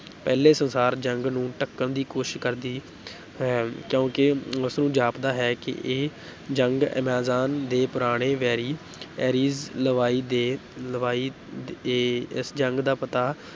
ਪਹਿਲੇ ਸੰਸਾਰ ਜੰਗ ਨੂੰ ਢਕਣ ਦੀ ਕੋਸ਼ਿਸ਼ ਕਰਦੀ ਹੈ ਕਿਉਂਕਿ ਉਸ ਨੂੰ ਜਾਪਦਾ ਹੈ ਕਿ ਇਹ ਜੰਗ ਐਮਾਜ਼ਾਨ ਦੇ ਪੁਰਾਣੇ ਵੈਰੀ ਐਰੀਜ਼ ਲਵਾਈ ਦੇ, ਲਵਾਈ ਦੇ ਇਸ ਜੰਗ ਦਾ ਪਤਾ